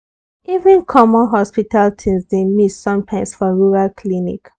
even common hospital things dey miss sometimes for rural clinic.